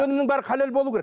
өнімнің бәрі халал болуы керек